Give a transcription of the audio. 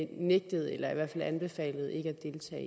nægtet eller i hvert fald anbefalet ikke